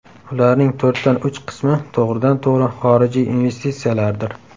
Ularning to‘rtdan uch qismi to‘g‘ridan-to‘g‘ri xorijiy investitsiyalardir.